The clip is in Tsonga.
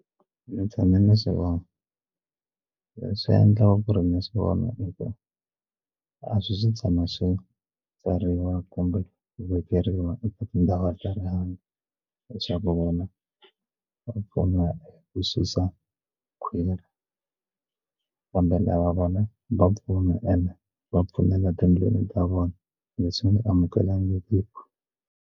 Ndzi tshame ni swi vona leswi endlaka ku ri ni swi vona hi ku a swi swi tshama swi tsariwa kumbe vekeriwa eka tindhawu ta rihanyo leswaku vona va pfuna hi ku susa khwiri kumbe lava va nga va ende va tindlela ta vona leswi nga amukelangiki.